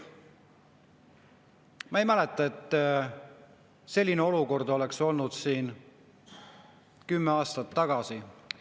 " Ma ei mäleta, et selline olukord oleks olnud siin kümme aastat tagasi.